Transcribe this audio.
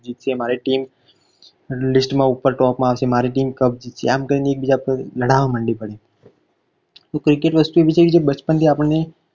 મારી team list માં ઉપર top માં આવશે મારી team cup જીતશે આમ કરીને એકબીજા પર લડવા મંડી પડ તો cricket એવી વસ્તુ છે કે બચપણ થી આપણને